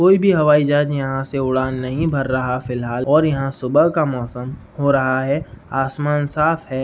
कोई भी हवाई जहाज यहाँ से उड़ान नहीं भर रहा फिलहाल और यहाँ सुबह का मौसम हो रहा है। आसमान साफ है।